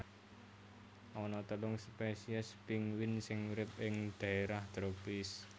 Ana telung spesies pinguin sing urip ing dhaérah tropis